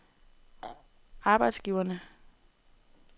arbejdsgiverne